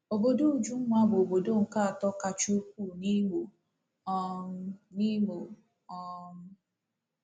Obodo Ujunwa bụ obodo nke atọ kacha ukwuu n'Imo um. n'Imo um.